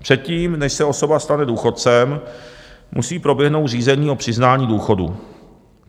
Předtím, než se osoba stane důchodcem, musí proběhnout řízení o přiznání důchodu.